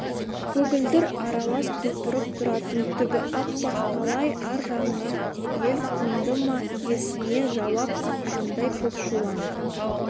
көгілдір аралас құлпырып тұратын түгі аппақ қалай ар жағыңа ел қонды ма иесіне жауап қатқандай көкшулан